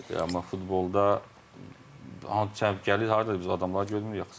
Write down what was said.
Amma futbolda gəlir haradan biz adamları görmürük axı stadionda.